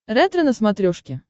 ретро на смотрешке